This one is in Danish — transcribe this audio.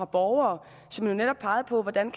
borgere som jo netop pegede på hvordan